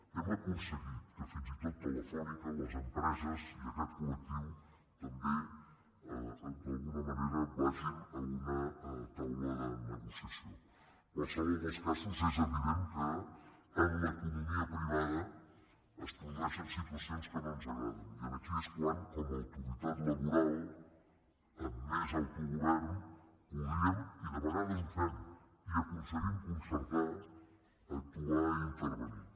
hem aconseguit que fins i tot telefònica les empreses i aquest colen qualsevol dels casos és evident que en l’economia privada es produeixen situacions que no ens agraden i aquí és quan com a autoritat laboral amb més autogovern podríem i de vegades ho fem i aconseguim concertar actuar i intervenir